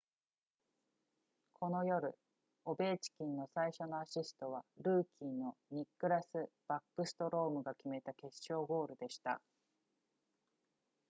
この夜オベーチキンの最初のアシストはルーキーのニックラスバックストロームが決めた決勝ゴールでした